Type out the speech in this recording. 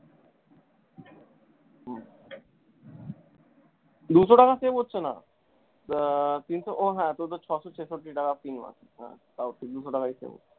দুশো টাকা save হচ্ছেনা আহ তিনশো ও হ্যাঁ তোর তো ছশো ছেষট্টি টাকা হ্যাঁ তাও ঠিক দুশো টাকাই তো।